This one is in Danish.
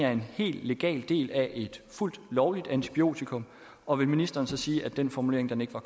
er en hel legal del af et fuldt lovligt antibiotikum og vil ministeren så sige at den formulering ikke var